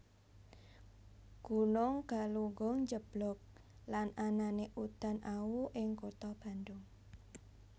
Gunung Galunggung njeblug lan anané udan awu ing kutha Bandung